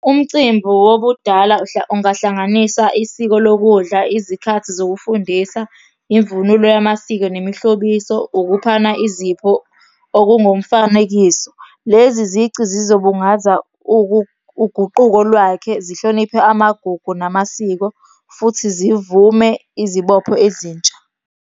Umcimbi wobudala ungahlanganisa isiko lokudla, izikhathi zokufundisa, imvunulo yamasiko nemihlobiso, ukuphana izipho okungumfanekiso. Lezi zici zizobungaza uguquko lwakhe, zihloniphe amagugu namasiko futhi zivume izibopho ezintsha.